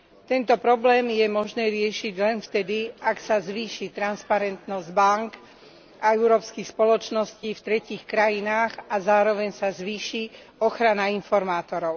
Tento problém je možné riešiť len vtedy, ak sa zvýši transparentnosť bánk a európskych spoločností v tretích krajinách a zároveň sa zvýši ochrana informátorov.